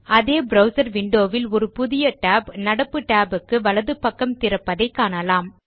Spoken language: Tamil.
அதே ப்ரவ்சர் விண்டோ வில் ஒரு புதிய tab நடப்பு tab க்கு வலது பக்கம் திறப்பதை காணலாம்